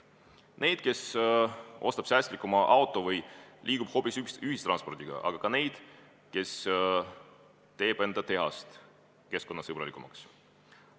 Need on inimesed, kes ostavad säästlikuma auto või kasutavad hoopis ühiskondlikku transporti, aga ka need, kes teevad oma tehase keskkonnasõbralikumaks.